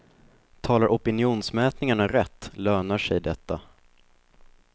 Talar opinionsmätningarna rätt lönar sig detta.